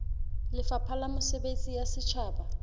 lefapha la mesebetsi ya setjhaba